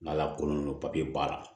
N'ala ko nɔnɔ b'a la